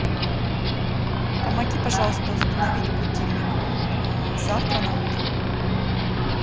помоги пожалуйста установить будильник завтра на утро